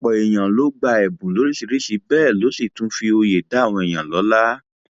ọpọ èèyàn ló gba ẹbùn lóríṣìíríṣìí bẹẹ ló sì tún fi òye dá àwọn èèyàn lọlá